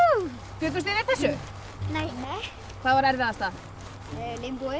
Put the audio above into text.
bjuggust þið við þessu nei hvað var erfiðasta